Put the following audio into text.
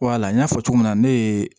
Wala n y'a fɔ cogo min na ne ye